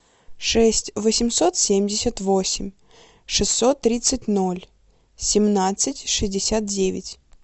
шесть восемьсот семьдесят восемь шестьсот тридцать ноль семнадцать шестьдесят девять